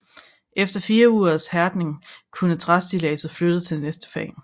Efter fire ugers hærdning kunne træstilladset flyttes til næste fag